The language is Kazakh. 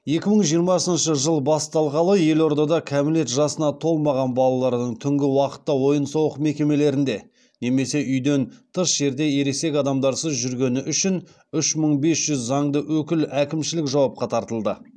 екі мың жиырмасыншы жыл басталғалы елордада кәмелет жасына толмаған балалардың түнгі уақытта ойын сауық мекемелерінде немесе үйден тыс жерде ересек адамдарсыз жүргені үшін үш мың бес жүз заңды өкіл әкімшілік жауапқа тартылды